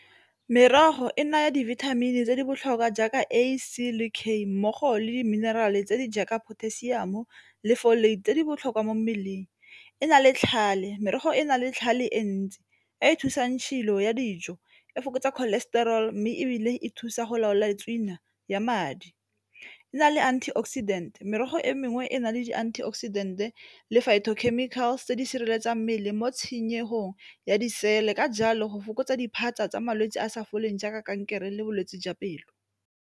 Merogo e naya dibithamini tse di botlhokwa jaaka A, C le K mmogo le di-mineral-e tse di jaaka potassium le tse di botlhokwa mo mmeleng. E na le tlhale, merogo e na le tlhale e ntsi e e thusang tshilo ya dijo, e fokotsa cholestrol mme ebile e thusa go laola le tswina ya madi e na le antioxidant, merogo e mengwe e na le di tse di sireletsang mmele mo tshenyego ya disele ka jalo go fokotsa diphatsa tsa malwetse a a sa foleng jaaka kankere le bolwetse jwa pelo.